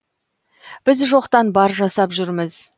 біз жоқтан бар жасап жүрміз